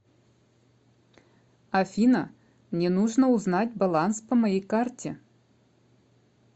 афина мне нужно узнать баланс по моей карте